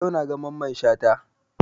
Yau na ga Mamman Shata